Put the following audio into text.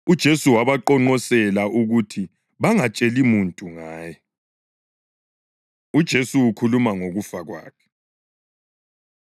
UJesu wabaqonqosela ukuthi bangatsheli muntu ngaye. UJesu Ukhuluma Ngokufa Kwakhe